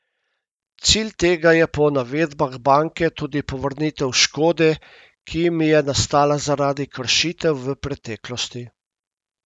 Cilj tega je po navedbah banke tudi povrnitev škode, ki jim je nastala zaradi kršitev v preteklosti.